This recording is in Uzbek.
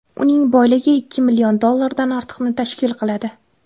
Uning boyligi ikki million dollardan ortiqni tashkil qiladi.